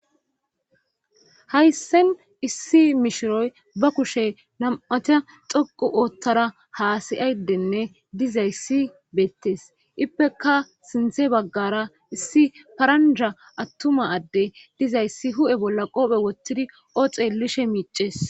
Hayssen issi mishiroy ba kushe nam'ata xoqu oothtara haasayayddenne dizayssi beettes ippeka sinthe baggara issi paranja attuma adde dizayssi hu7e bolla qoophe wottidi ooxe lishe miices.